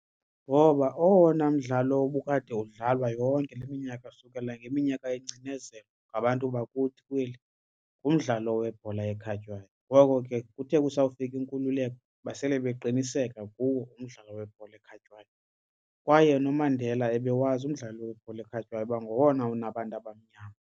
Ngoba owona mdlalo obukade udlalwa yonke le minyaka sukela ngeminyaka yecinezelo ngabantu bakuthi kweli ngumdlalo webhola ekhatywayo. Ngoko ke kuthe kusawufika inkululeko basele beqiniseka kuwo umdlalo webhola ekhatywayo kwaye noMandela ebewazi umdlalo webhola ekhatywayo kuba ngowona unabantu abamnyama.